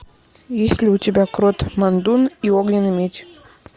есть ли у тебя крод мандун и огненный меч